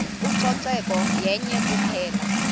ucoceko yenye kuphela